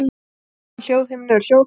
Fyrir innan hljóðhimnu er hljóðholið.